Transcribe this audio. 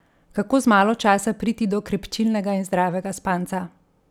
Kako z malo časa priti do krepčilnega in zdravega spanca?